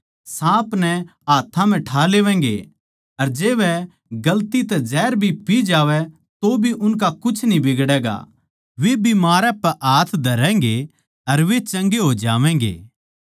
साँप नै हाथ्थां म्ह ठा लेवैगें अर जै वे गलती तै जहर भी पी जावै तोभी उनका कुछ न्ही बिगड़ैगा वे बिमारां पै हाथ धरैगें अर वे चंगे हो जावैंगे